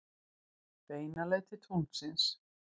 Beina leið til tunglsins.